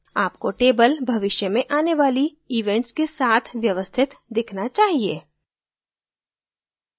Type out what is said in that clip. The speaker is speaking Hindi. आपको table भविष्य में आने वाली events के साथ व्यवस्थित दिखना चाहिए